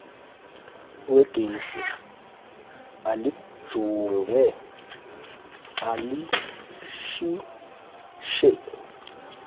wegesi alijonge alitshintshe